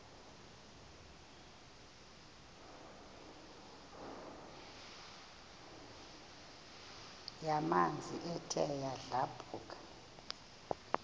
yamanzi ethe yadlabhuka